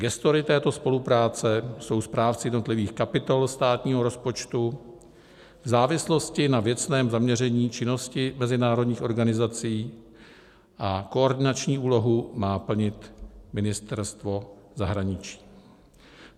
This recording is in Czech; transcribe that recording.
Gestory této spolupráce jsou správci jednotlivých kapitol státního rozpočtu v závislosti na věcném zaměření činnosti mezinárodních organizací a koordinační úlohu má plnit Ministerstvo zahraničí.